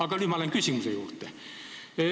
Aga ma lähen nüüd küsimuse juurde.